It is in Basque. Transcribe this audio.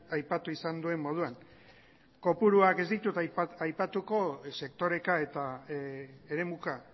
aipatu izan duen moduan kopuruak ez ditut aipatuko sektoreka eta eremuka